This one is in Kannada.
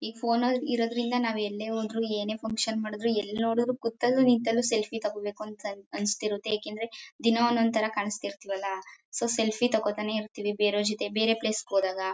ಈಗ್ ಫೋನ್ ಅಲ್ ನಾವ್ ಇರೋದ್ರಿಂದ ನಾವ್ ಎಲ್ಲೇ ಹೋದ್ರು ಏನೇ ಫನ್ಕ್ಷನ್ ಮಾಡುದ್ರು ಎಲ್ಲಿ ನೋಡಿದರು ಕುತಲ್ಲೂ ನಿಂತಲ್ಲು ಸೆಲ್ಫಿ ತೊಗೋಬೇಕು ಅಂತ ಅನ್ಸ್ತಿರತ್ತೆ ಯಾಕಂದ್ರೆ ದಿನ ಒಂದೊಂದ್ ಥರ ಕಾಣಸ್ತಿರ್ತೀವಲ್ಲ ಸೊ ಸೆಲ್ಫಿ ತೊಗೋತಾನೆ ಇರ್ತೀವಿ ಬೆರೆವರ್ ಜೊತೆ ಬೇರೆ ಪ್ಲೇಸ್ ಹೋದಾಗ.